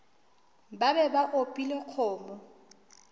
ba be ba opile kgomo